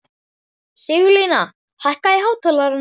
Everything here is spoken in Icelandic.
Sigurlína, hækkaðu í hátalaranum.